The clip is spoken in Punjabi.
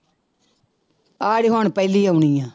ਆਹ ਜਿਹੜੀ ਹੁਣ ਪਹਿਲੀ ਆਉਣੀ ਆਂ।